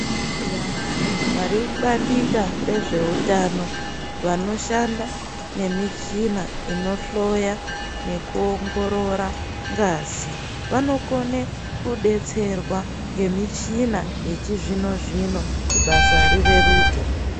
Vantu vari mu bandika rezve utano vanoshanda nemi china ino hloya neku ongorora ngazi vano kone kudetserwa nge michina yechi zvino zvino kuti basa ri reruke.